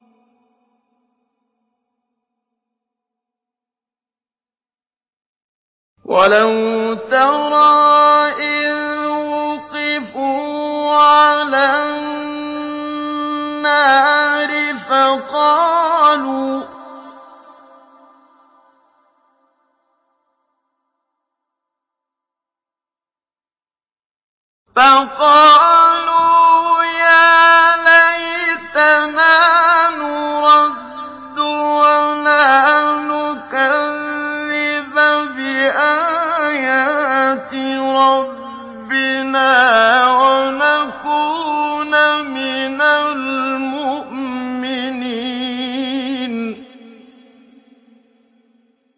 وَلَوْ تَرَىٰ إِذْ وُقِفُوا عَلَى النَّارِ فَقَالُوا يَا لَيْتَنَا نُرَدُّ وَلَا نُكَذِّبَ بِآيَاتِ رَبِّنَا وَنَكُونَ مِنَ الْمُؤْمِنِينَ